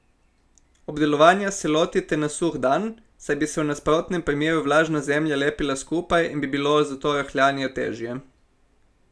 Obdelovanja se lotite na suh dan, saj bi se v nasprotnem primeru vlažna zemlja lepila skupaj in bi bilo zato rahljanje težje.